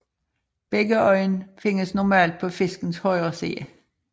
Begge øjne findes normalt på fiskens højre side